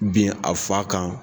Bin a fa kan